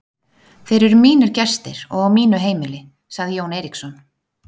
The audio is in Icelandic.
Þeir eru mínir gestir og á mínu heimili, sagði Jón Eiríksson.